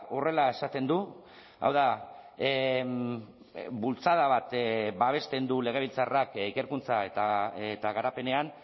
horrela esaten du hau da bultzada bat babesten du legebiltzarrak ikerkuntza eta garapenean